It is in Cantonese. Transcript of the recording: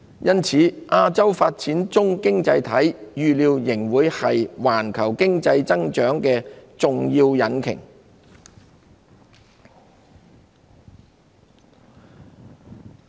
因此，亞洲發展中經濟體預料仍會是環球經濟增長的重要引擎。